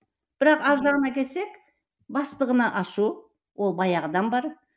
бірақ ар жағына келсек бастығына ашу ол баяғыдан бар